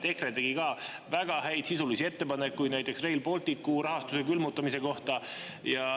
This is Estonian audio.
EKRE tegi ka väga häid sisulisi ettepanekuid, näiteks Rail Balticu rahastuse külmutamise kohta.